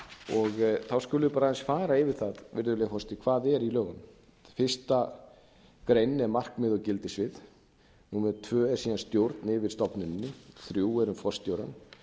þá skulum við bara aðeins fara yfir það virðulegi forseti hvað er í lögunum fyrsta greinin er markmið og gildissvið númer tvö er síðan stjórn yfir stofnuninni þrjú er um forstjórann